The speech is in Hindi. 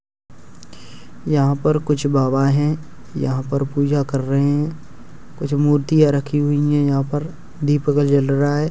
यहां पर कुछ बाबा है यहां पर पूजा कर रहे हैं। कुछ मूर्तियां रखी हुई है। यहां पर दीपक जल रहा है।